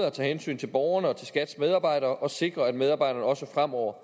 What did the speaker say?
at tage hensyn til borgerne og til skats medarbejdere og sikre at medarbejderne også fremover